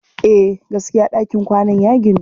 Eh, gaskiya ɗakin kwanan ya ginu.